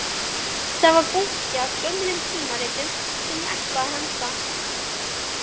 Þar var bunki af gömlum tímaritum sem ég ætlaði að henda